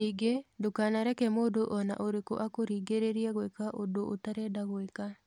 Ningĩ, ndũkanareke mũndũ o na ũrĩkũ akũringĩrĩrie gwĩka ũndũ ũtarenda gwĩka.